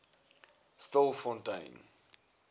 stilfontein